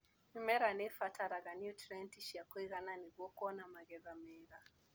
Mĩmera nĩibataraga nutrienti cia kũigana nĩguo kuona magetha mega.